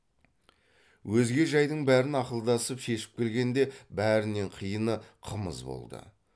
өзге жайдың бәрін ақылдасып шешіп келгенде бәрінен қиыны қымыз болды